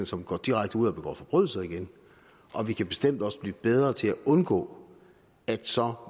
som går direkte ud og begå forbrydelser igen og vi kan bestemt også blive bedre til at undgå at så